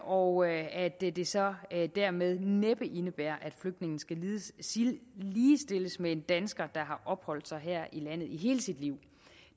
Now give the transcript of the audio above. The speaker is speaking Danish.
og at at det det så dermed næppe indebærer at flygtninge skal ligestilles med en dansker der har opholdt sig her i landet i hele sit liv